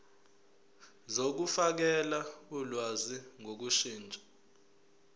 zokufakela ulwazi ngokushintsha